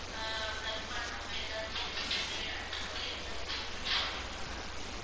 அஹ் plug பண்ணாம ஏதாவது miss பண்ணி அந்த மாதிரி ஏதாவது check பண்ணி பார்த்தீங்களா ma'am